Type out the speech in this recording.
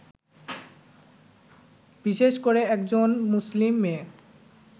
বিশেষ করে একজন মুসলিম মেয়ে